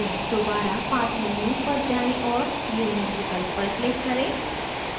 दोबारा path menu पर जाएँ और union विकल्प पर click करें